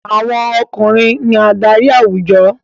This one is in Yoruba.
Àwọn ọkùnrin ní adarí àwùjọ.